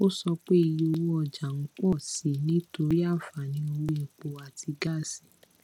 o so pe iye owo oja n pọ si i nitori anfaani owo epo ati gaasi